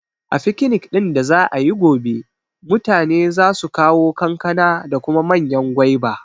A fikinik ɗin da za'ayi gobe, mutane za su kawo kankana da kuma manyan gwaiba